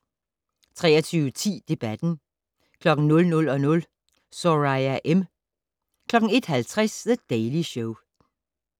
23:10: Debatten 00:00: Soraya M. 01:50: The Daily Show